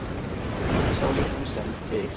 Þingsályktun send Geir